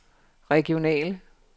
regionale